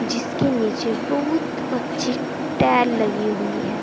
जिसके नीचे बहुत अच्छी टाइल लगी हुई है।